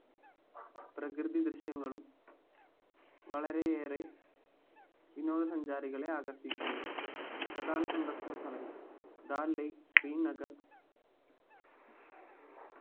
പ്രകൃതി ദൃശ്യങ്ങളും വളരെയേറെ വിനോദ സഞ്ചാരികളെ ആകർഷിക്കുന്നു പ്രധാന സന്ദർശന സ്ഥലങ്ങൾ ദാൽ lake ശ്രീനഗർ